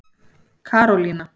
Karólína